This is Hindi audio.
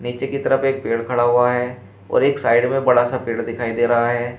नीचे की तरफ एक पेड़ खड़ा हुआ है और एक साइड में बड़ा सा पेड़ दिखाई दे रहा है।